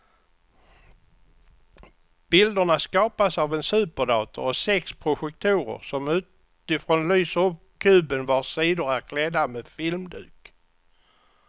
Bilderna skapas av en superdator och sex projektorer som utifrån lyser upp kuben vars sidor är klädda med filmduk.